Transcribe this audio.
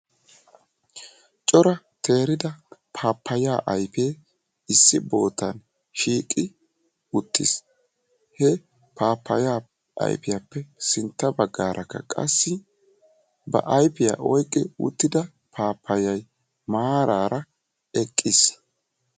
Cora teerida pappaya ayppe issi boottan shiiqi uttiis. He pappaya aypiyappe sintta baggaarakka qassi ba aypiyaa oyqqi uttida pappayay maarara eqqiis.